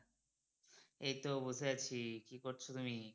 এই তো বসে আছি, কি করছো তুমি?